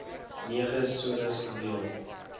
nege sones verdeel